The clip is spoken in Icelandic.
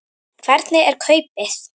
Hvernig er kaupið?